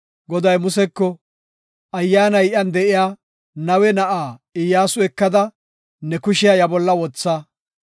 Goday Museko, “Ayyaanay iyan de7iya Nawe na7aa Iyyasu ekada ne kushiya iya bolla wotha.